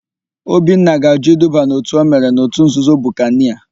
Obinna ga-àjụ́ iduba n'òtù o mere n'òtù nzuzo Bukanịa.